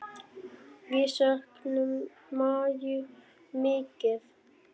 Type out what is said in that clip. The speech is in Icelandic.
Við söknum Maju mikið.